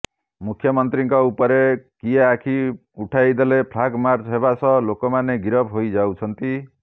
ମୁଖ୍ୟମନ୍ତ୍ରୀଙ୍କ ଉପରେ କିଏ ଆଖି ଉଠାଇଦେଲେ ଫ୍ଲାଗମାର୍ଚ୍ଚ ହେବା ସହ ଲୋକମାନେ ଗିରଫ ହେଇଯାଉଛନ୍ତି